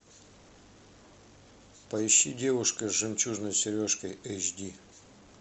поищи девушка с жемчужной сережкой эйч ди